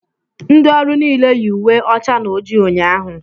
Ndị ọrụ niile yi uwe ọcha na ojii ụnyaahụ